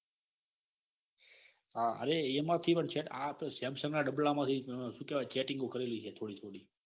હા અરે એના થી પણ ચેટ આ તો સેમસંગ ના ડાબલા માંથી સુ કેવાય. માંથી ચેટીંગો કરેલી હે થોડી થોડી